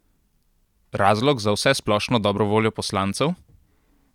Razlog za vsesplošno dobro voljo poslancev?